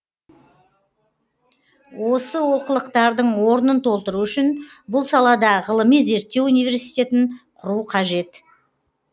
осы олқылықтардың орнын толтыру үшін бұл салада ғылыми зерттеу университетін құру қажет